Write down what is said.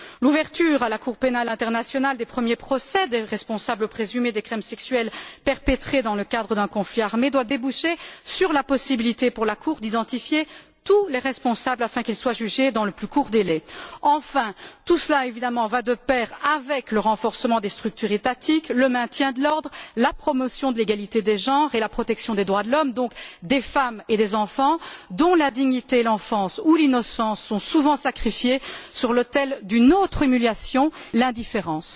L'ouverture, à la Cour pénale internationale, des premiers procès des responsables présumés des crimes sexuels perpétrés dans le cadre d'un conflit armé doit déboucher sur la possibilité pour la Cour d'identifier tous les responsables afin qu'ils soient jugés dans les meilleurs délais. Enfin, tout cela, évidemment, va de pair avec le renforcement des structures étatiques, le maintien de l'ordre, la promotion de l'égalité des genres et la protection des droits de l'homme, donc des femmes et des enfants, dont la dignité, l'enfance ou l'innocence sont souvent sacrifiées sur l'autel d'une autre humiliation l'indifférence.